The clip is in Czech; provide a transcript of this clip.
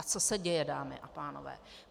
A co se děje, dámy a pánové?